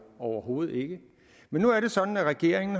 overhovedet ikke men nu er det sådan at regeringen